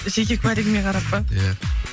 жеке куәлігіңе қарап па иә